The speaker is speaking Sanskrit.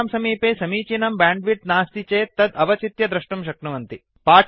भवतां समीपे समीचीनं ब्याण्ड्विड्थ् नास्ति चेत् तद् अवचित्य द्रष्टुं शक्नुवन्ति